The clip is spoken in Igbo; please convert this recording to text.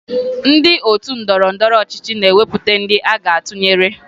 Ndị otu ndọrọndọrọ ọchịchị na-ewepụta ndị aga atụnyere